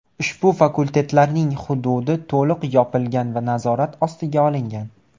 Ushbu fakultetlarning hududi to‘liq yopilgan va nazorat ostiga olingan.